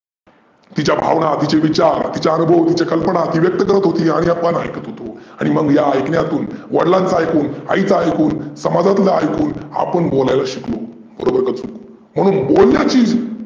तिची भावना, तीचे विचार, तीचे अनुभव, तीची कल्पना ती व्यक्त करत होती आणि ते आपण ऐकत होतो. आणि मग या ऐकण्यातून वडीलांच ऐकून, आईचं ऐकुन, समाजातल ऐकुण, आपण बोलायला शिकलो. बरोबर का चूक? म्हणून बोलण्याची